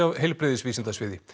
heilbrigðisvísindasviði